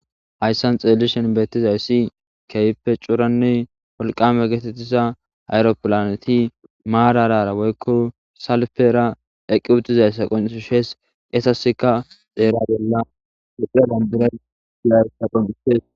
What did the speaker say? Hayssan xeelishen beettizayssi keype curanne wolqame geetettisa hayro pilaneti maararara woykko salfera eqqi utizayssa qonu shees qesaseka dheera bella hephie bandiray ilaysa qonitees.